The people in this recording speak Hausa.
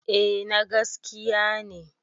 A na gaskiya ne